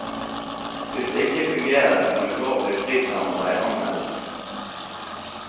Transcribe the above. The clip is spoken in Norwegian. Hvis det ikke fungerer, kan ulovlig prissamarbeid anmeldes.